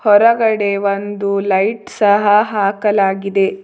ಹೊರಗಡೆ ಒಂದು ಲೈಟ್ ಸಹ ಹಾಕಲಾಗಿದೆ.